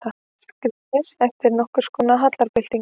Skírnis eftir nokkurskonar hallarbyltingu.